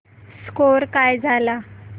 score काय झाला